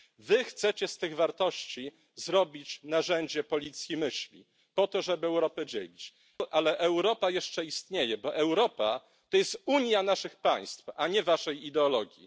Wy chcecie z tych wartości zrobić narzędzie policji myśli, po to żeby Europę dzielić, ale Europa jeszcze istnieje, bo Europa to jest unia naszych państw, a nie waszej ideologii.